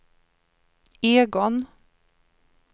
Egon